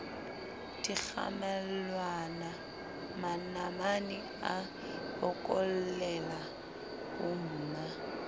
dikgamelwana manamane a bokollela bomma